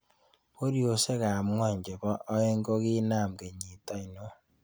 Boryosiek ab ng'wony chebo aen'g koginam kenyit ainon